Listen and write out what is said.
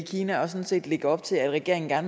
kina og sådan set lægge op til at regeringen der